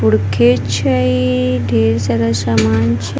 उड़के छै ढेर सारा सामान छे --